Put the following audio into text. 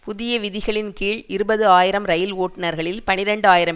புதிய விதிகளின் கீழ் இருபது ஆயிரம் இரயில் ஓட்டுனர்களில் பனிரண்டு ஆயிரம்